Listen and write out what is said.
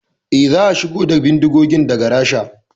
Eh, za a shigo da bindigogin daga Rasha